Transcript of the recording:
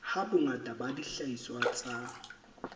ha bongata ba dihlahiswa tsa